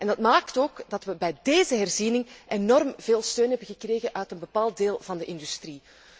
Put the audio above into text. Dat maakt ook dat we bij deze herziening enorm veel steun hebben gekregen uit een bepaald deel van de industrie.